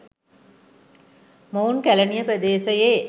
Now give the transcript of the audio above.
මොවුන් කැලණිය ප්‍රදේශයේ